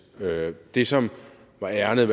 det som var ærindet